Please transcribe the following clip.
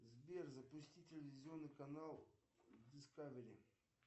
сбер запусти телевизионный канал дискавери